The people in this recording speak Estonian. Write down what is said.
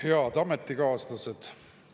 Head ametikaaslased!